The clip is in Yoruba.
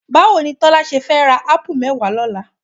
Báwo ni Tọ́lá ṣe fẹ́ ra ápù mẹ́wàá lọ́la?